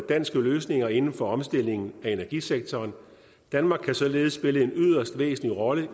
danske løsninger inden for omstilling af energisektoren danmark kan således spille en yderst væsentlig rolle